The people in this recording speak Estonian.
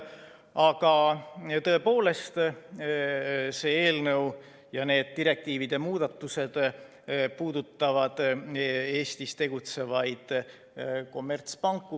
Aga tõepoolest, see eelnõu ja need direktiivide muudatused puudutavad Eestis tegutsevaid kommertspanku.